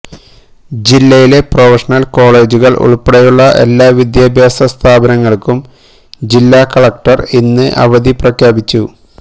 ജില്ലയിലെ പ്രൊഫഷനല് കോളേജുകള് ഉള്പ്പെടെയുള്ള എല്ലാ വിദ്യാഭ്യാസ സ്ഥാപനങ്ങള്ക്കും ജില്ലാ കലക്ടര് ഇന്ന് അവധി പ്രഖ്യാപിച്ചു